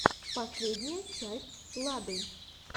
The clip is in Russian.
последняя часть лады